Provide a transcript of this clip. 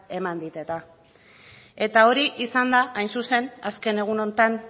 eman dit eta eta hau esanda hain zuzen azken egun honetan